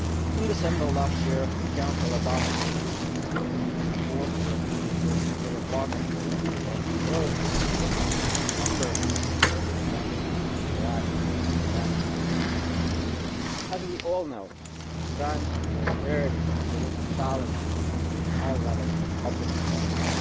In December last year the Council adopted conclusions on a reinforced European Research Area Partnership for Excellence and Growth in which a number of specific points for action were identified. As we all know, at times of austerity it is a challenge to maintain high levels of public investment